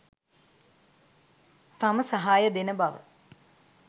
තම සහාය දෙන බව